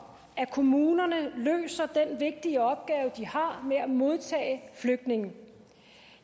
at kommunerne løser den vigtige opgave de har med at modtage flygtningene